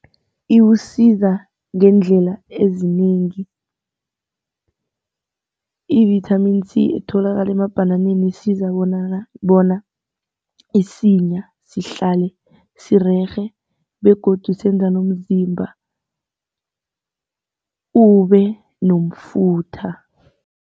Iwusiza ngeendlela ezinengi, i-vitamin C etholakala emabhananeni isiza bona isinya sihlale sirerhe begodu senza nomzimba ube nomfutho.